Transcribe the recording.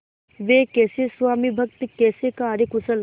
वे कैसे स्वामिभक्त कैसे कार्यकुशल